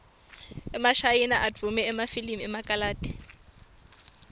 emashayina advume ngemafilimu ekarathi